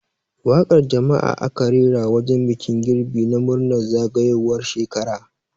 Waƙar jam'a aka rera a wajen bikin girbi na murnar zagayowar shekara.